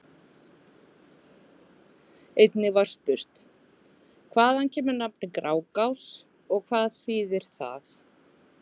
Einnig var spurt: Hvaðan kemur nafnið Grágás og hvað þýðir það?